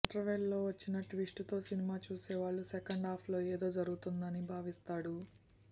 interval లో వచ్చిన twist తో సినిమా చూసే వాళ్ళు సెకండ్ హాఫ్ లో ఏదో జరగబోతుంది అని భావిస్తాడు